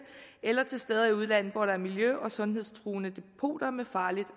eller til steder i udlandet hvor der er miljø og sundhedstruende depoter med farligt